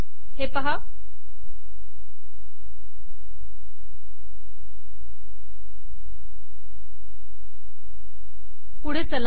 हे पहा पुढे चला